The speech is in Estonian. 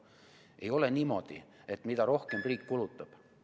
Ei ole niimoodi, et mida rohkem riik kulutab ...